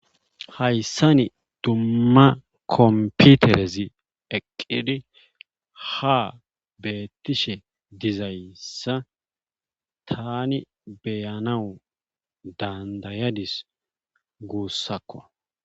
hayssani dumma kompiterezi eqqidi ha beettishe dizayssa tani beyanawu dandayadis guussakko